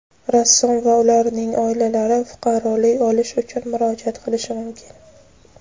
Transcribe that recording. rassom va ularning oilalari fuqarolik olish uchun murojaat qilishi mumkin.